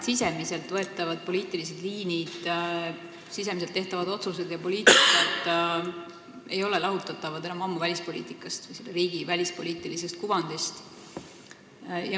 Riikide enda poliitilised suunad, sisemiselt tehtavad otsused ei ole enam ammu lahutatavad välispoliitikast, riigi välispoliitilisest kuvandist.